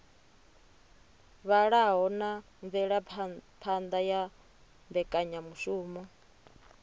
vhalaho na mvelaphana ya mbekanyamushumo